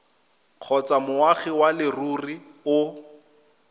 kgotsa moagi wa leruri o